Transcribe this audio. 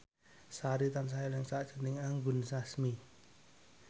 Sari tansah eling sakjroning Anggun Sasmi